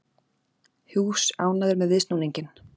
Hughes ánægður með viðsnúninginn